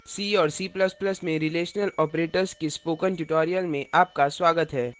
c और c ++ में relational operators के spoken tutorial में आपका स्वागत है